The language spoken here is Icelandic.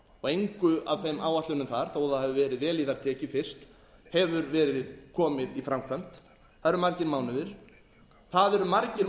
og engu af þeim áætlunum þar þó að það hafi verið vel í þær tekið fyrst hefur verið komið í framkvæmd það eru margir mánuðir það eru margir